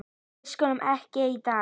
Við sköllum ekki í dag!